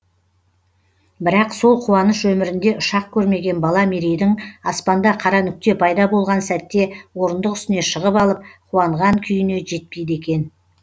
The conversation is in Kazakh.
бірақ сол қуаныш өмірінде ұшақ көрмеген бала мерейдің аспанда қара нүкте пайда болған сәтте орындық үстіне шығып алып қуанған күйіне жетпейді екен